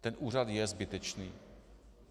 Ten úřad je zbytečný.